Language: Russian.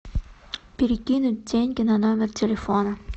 перекинуть деньги на номер телефона